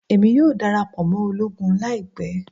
Emi yoo darapọ mọ ologun laipẹ